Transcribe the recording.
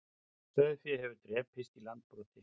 Sauðfé hefur drepist í Landbroti